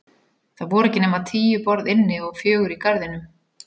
Það voru ekki nema tíu borð inni og fjögur í garðinum.